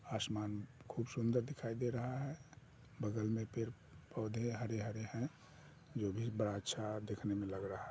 आसमान खूब सुंदर दिखाई दे रहा है बगल में पेड़ पौधे हरे-हरे हैं जो भी बड़ा अच्छा देखने में लग रहा है।